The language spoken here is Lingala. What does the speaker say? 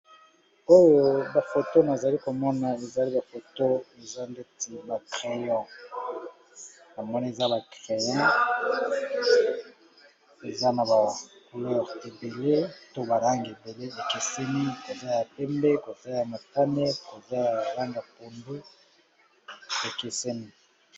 Elili oyo ezo lakisa biso ba crayons eza pe na gomme nango na likolo. Ezali na langi ya motane, pembe na langi ya pondu.